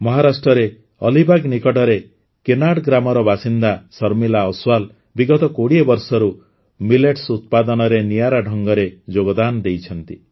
ମହାରାଷ୍ଟ୍ରରେ ଅଲିବାଗ ନିକଟରେ କେନାଡ଼ ଗ୍ରାମର ବାସିନ୍ଦା ଶର୍ମିଳା ଅସ୍ୱାଲ ବିଗତ ୨୦ ବର୍ଷରୁ ମିଲେଟ୍ସ ଉତ୍ପାଦନରେ ନିଆରା ଢଙ୍ଗରେ ଯୋଗଦାନ ଦେଇଛନ୍ତି